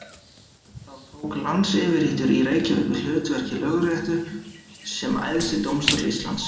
Þá tók landsyfirréttur í Reykjavík við hlutverki Lögréttu sem æðsti dómstóll Íslands.